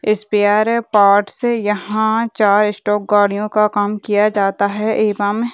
spare parts यहाँ चार stock गाड़ियों का काम किया जाता है एवं --